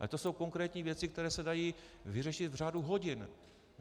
Ale to jsou konkrétní věci, které se dají vyřešit v řádu hodin.